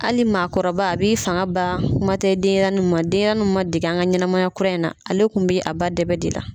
Hali maakɔrɔba a b'i fanga ban kuma tɛ denɲɛrɛnni ma ,denɲɛrɛnni ma dege an ka ɲɛnamaya kura in na , ale tun bɛ a ba dɛbɛ de la.